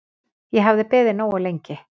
Ég hafði beðið nógu lengi.